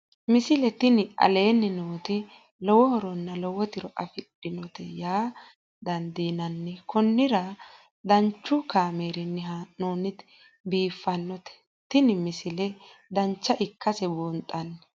misile tini aleenni nooti lowo horonna lowo tiro afidhinote yaa dandiinanni konnira danchu kaameerinni haa'noonnite biiffannote tini misile dancha ikkase buunxanni